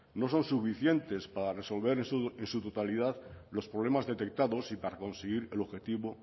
no son suficientes para resolver en su totalidad los problemas detectados y para conseguir el objetivo